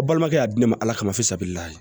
A balimakɛ y'a di ne ma ala kama fo sabiriya ye